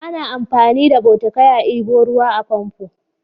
Ana amfani da bokitai a ɗebo ruwa a famfo.